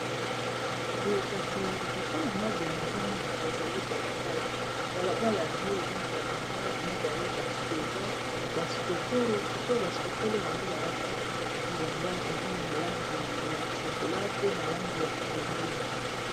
Boye kasi liboso na nga boye nazomona ezali balabala balabala yango eza na ba mibali mibale ba soda ba sokolo sikoyo ba sokolo yango balati bilamba eza na langi ya chokola pe na langi ya pondu.